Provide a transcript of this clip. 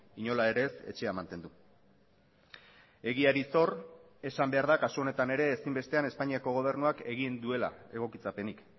inola ere ez etxea mantendu egiari zor esan behar da kasu honetan ere ezinbestean espainiako gobernuak egin duela egokitzapenik